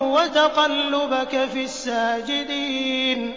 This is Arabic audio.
وَتَقَلُّبَكَ فِي السَّاجِدِينَ